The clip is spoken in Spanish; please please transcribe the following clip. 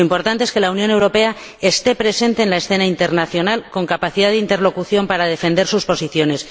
Lo importante es que la Unión Europea esté presente en la escena internacional con capacidad de interlocución para defender sus posiciones.